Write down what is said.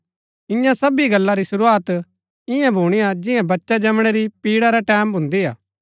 इन्या सबी गल्ला री शुरूआत ईयां भुणीआ जियां बच्चा जमणै री पिड़ा रै टैमं भून्दिआ